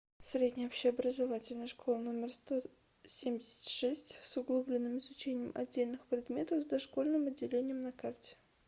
средняя общеобразовательная школа номер сто семьдесят шесть с углубленным изучением отдельных предметов с дошкольным отделением на карте